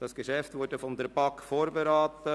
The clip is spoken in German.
Dieses Geschäft wurde von der BaK vorberaten.